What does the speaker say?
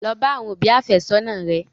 Lọ bá àwọn òbí àfẹ́sọ́nà rẹ!